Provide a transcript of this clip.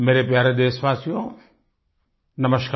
मेरे प्यारे देशवासियो नमस्कार